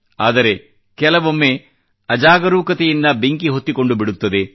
ಆದರೆ ಕೆಲವೊಮ್ಮೆ ಅಜಾಗರೂಕತೆಯಿಂದ ಬೆಂಕಿ ಹೊತ್ತಿಕೊಂಡುಬಿಡುತ್ತದೆ